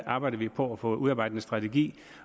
arbejder vi på at få udarbejdet en strategi